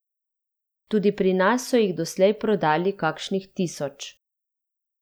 Tudi pri nas so jih doslej prodali kakšnih tisoč.